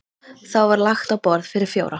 Þá var lagt á borð fyrir fjóra.